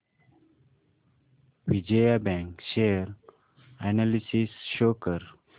Vijaya bank share analysis show कर